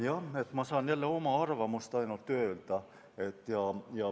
Jah, ma saan jälle öelda ainult oma arvamuse.